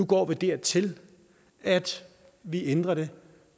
går dertil at vi ændrer det